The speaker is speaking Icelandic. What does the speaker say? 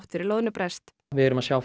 fyrir loðnubrest við erum að sjá